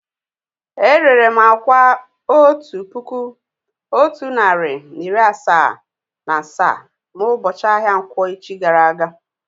È rèré m àkwá otu puku otu narị na iri asaa na asaa na ubochi ahia nkwọ̀ echi gara aga